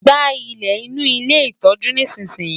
Gba ilẹ̀ inú ilé ìtọ́jú nísinsìnyí!